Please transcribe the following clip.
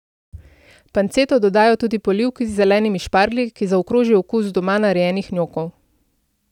Panceto dodajo tudi polivki z zelenimi šparglji, ki zaokroži okus doma narejenih njokov.